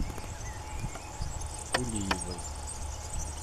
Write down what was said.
кулиевой